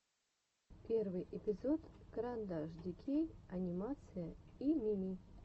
первый эпизод карандашдикей анимация и мими